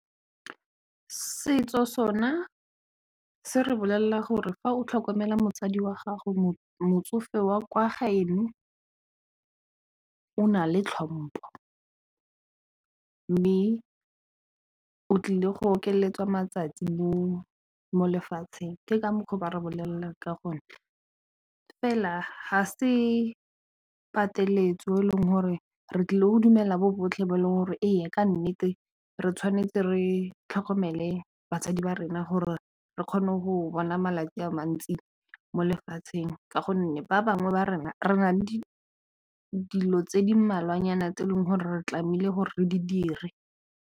Setso sona se re bolelela gore fa o tlhokomela motsadi wa gago motsofe wa kwa gaeno o na le tlhompo mme o tlile go okeletswa matsatsi mo molefatsheng ke ka mokgwa o ba rebolela ka gonne fela ga se pateletso e leng gore re tlile go dumela ba botlhe mo e leng gore e yaka nnete re tshwanetse re tlhokomele basadi ba rena gore re kgone go bona malatsi a mantsi mo lefatsheng ka gonne ba bangwe ba rena re nale dilo tse di mmalwanyana tse e leng gore re tlameile gore re di dire.